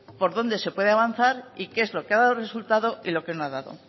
por dónde se puede avanzar y qué es lo que ha dado resultado y lo que no ha dado